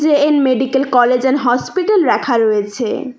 এ_এন medical college and hospital ল্যাখা রয়েছে।